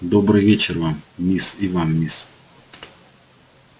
добрый вечер вам мисс и вам мисс